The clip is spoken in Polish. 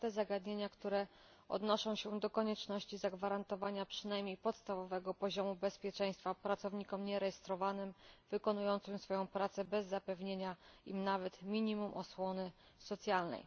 na te zagadnienia, które odnoszą się do konieczności zagwarantowania przynajmniej podstawowego poziomu bezpieczeństwa pracownikom nierejestrowanym, wykonującym swoją prace bez zapewnienia nawet minimum osłony socjalnej.